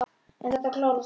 En þetta klárast allt.